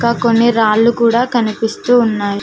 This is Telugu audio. అ కొన్ని రాళ్ళు కూడా కనిపిస్తూ ఉన్నాయ్.